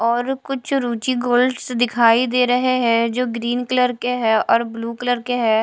और कुछ रूची गोल्ड्स दिखाई दे रहे हैं जो ग्रीन कलर के हैं और ब्लू कलर के हैं।